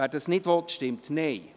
wer das nicht will, stimmt Nein.